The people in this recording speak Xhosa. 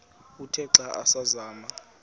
uthe xa asazama